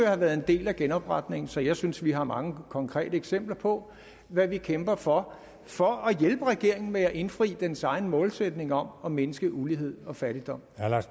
have været en del af genopretningen så jeg synes vi har mange konkrete eksempler på hvad vi kæmper for for at hjælpe regeringen med at indfri dens egen målsætning om at mindske ulighed og fattigdom